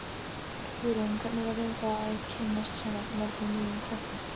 Hugrún: Hvernig verður það að kynnast svona mörgum nýjum krökkum?